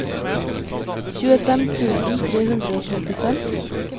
tjuefem tusen tre hundre og trettifem